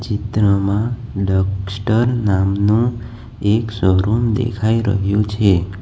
ચિત્રમાં ડેક્સ્ટર નામનો એક શોરૂમ દેખાઈ રહ્યો છે.